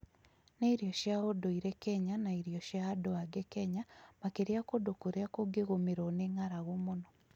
Nĩ irio cia ũndũire kenya na irio cia andũ aingĩ kenya makĩria kũndũ kũrĩa kũngĩgũmĩrwo nĩ ng'aragu mũno